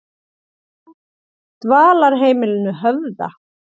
Dvalarheimilinu Höfða